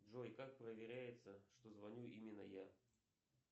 джой как проверяется что звоню именно я